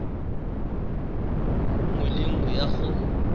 nngwe le nngwe ya go